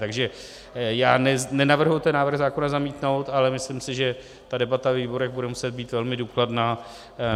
Takže já nenavrhuji ten návrh zákona zamítnout, ale myslím si, že ta debata ve výborech bude muset být velmi důkladná.